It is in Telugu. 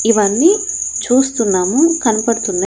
ఇవన్నీ చూస్తున్నాము కన్పడుతున్నయ్.